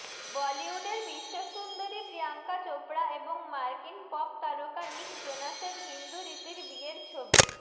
বলিউডের বিশ্বসুন্দরী প্রিয়াঙ্কা চোপড়া এবং মার্কিন পপ তারকা নিক জোনাসের হিন্দু রীতির বিয়ের ছবি